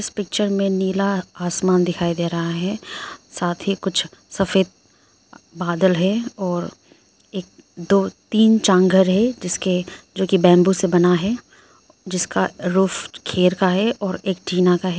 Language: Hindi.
पिक्चर मे नीला आसमान दिखाई दे रहा है साथ ही कुछ सफेद बादल है और एक दो तीन घर है जिसके जो कि बैंबू से बना है जिसका रूफ खेर का है और एक टीना का है।